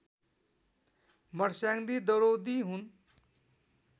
मर्स्याङ्दी दरौदी हुन्